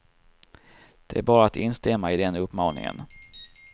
Det är bara att instämma i den uppmaningen.